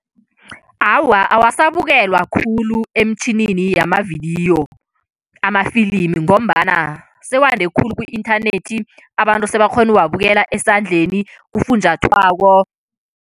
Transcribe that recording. Awa, awasabukelwa khulu emtjhinini yamavidiyo amafilimi ngombana sewande khulu ku-inthanethi. Abantu sebakhona ukuwabukela esandleni, kufunjathwako.